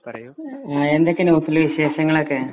പറയൂ എന്തൊക്കെയാ ന്യൂസിലെ വിശേഷങ്ങളൊക്കെ